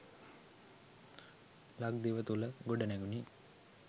ලක්දිව තුළ ගොඩනැඟුණි.